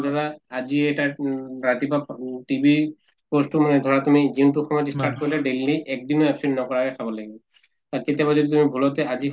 ধৰা আজি এটা উম ৰাতিপুৱা উম TB course তো মানে ধৰা তুমি যোনটো সময়ত start কৰিলা daily এক দিনো absent নকৰাকে খাব লাগিব। কেতিয়াবা যদি তুমি ভুলতে আজি